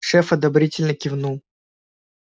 шеф одобрительно кивнул